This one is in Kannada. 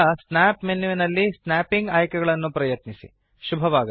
ಆನಂತರ ಸ್ನ್ಯಾಪ್ ಮೆನ್ಯು ನಲ್ಲಿ ಸ್ನ್ಯಾಪಿಂಗ್ ಆಯ್ಕೆಗಳನ್ನು ಪ್ರಯತ್ನಿಸಿ